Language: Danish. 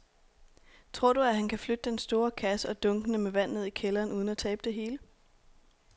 Tror du, at han kan flytte den store kasse og dunkene med vand ned i kælderen uden at tabe det hele?